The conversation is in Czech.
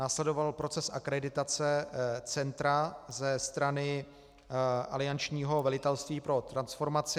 Následoval proces akreditace centra ze strany aliančního velitelství pro transformaci.